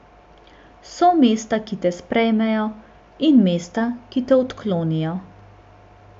So mesta, ki te sprejmejo, in mesta, ki te odklonijo.